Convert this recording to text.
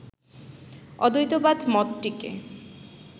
অদ্বৈতবাদ মতটিকে